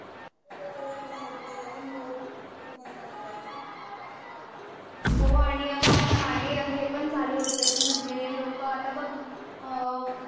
हो आणि अगं आता मागे पण झालं होत कि म्हणजे लोकं आता बघ अअ